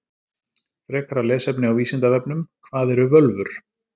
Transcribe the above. Frekara lesefni á Vísindavefnum: Hvað eru völvur?